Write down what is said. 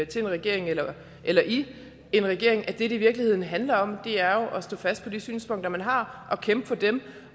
til en regering eller eller i en regering er at det det i virkeligheden handler om jo er at stå fast på de synspunkter man har og kæmpe for dem